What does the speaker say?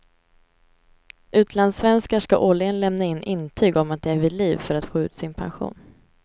Utlandssvenskar ska årligen lämna in intyg om att de är vid liv, för att få ut sin pension.